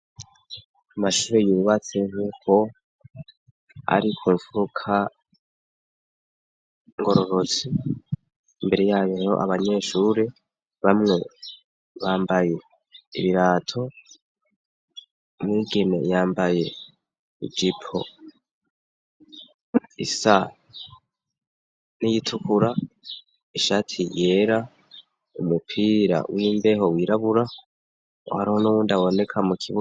Amashube yubatse nk'uko ari ku mfuka ngororotsi imbere yabiho abanyeshuri bamwe bambaye ibirato muigime yambaye ijipo isa n'iyitukura ishati yera umupira w'imbeho wirabura uhariho n'uwundaboneka mu kigo.